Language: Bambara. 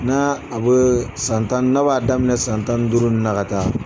N'a a bɛ san tan ni n'a b'a daminɛ san tani duuru ninnu ka taa